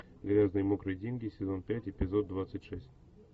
грязные мокрые деньги сезон пять эпизод двадцать шесть